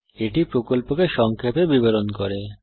এটি প্রকল্পকে সংক্ষেপে বিবরণ করে